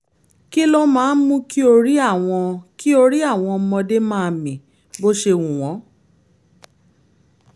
kí ló máa ń mú kí orí àwọn kí orí àwọn ọmọdé máa mì bó ṣe wù wọ́n?